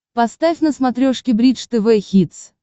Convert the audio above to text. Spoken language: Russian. поставь на смотрешке бридж тв хитс